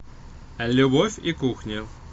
любовь и кухня